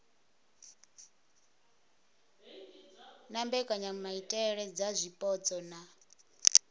na mbekanyamaitele dza zwipotso na